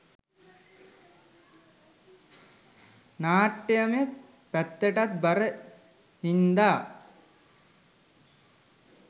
නාට්‍යමය පැත්තටත් බර හින්දා